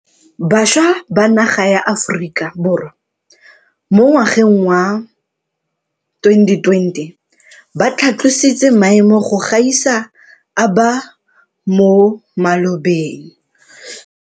Bašwa ba naga ya Aforika Borwa mo ngwageng wa 2020 ba tlhatlositse maemo go gaisa a ba mo malobeng.